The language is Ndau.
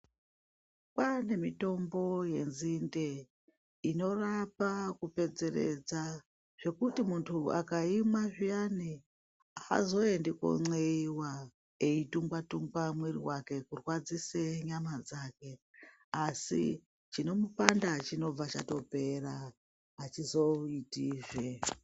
Kwane mitombo yenzinde inorapa kupedzeredza, zvekuti muntu akaimwa zviyani azoendi konxeiwa eidhungwa-dhungwa mwiri wake kurwadzise nyama dzake asi chinomupanda chinobva chatopera achizoitizve.